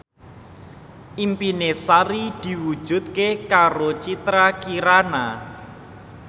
impine Sari diwujudke karo Citra Kirana